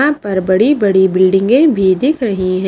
यहां पर बड़ी-बड़ी बिल्डिंगे भी दिख रही है।